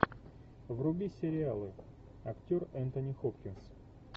вруби сериалы актер энтони хопкинс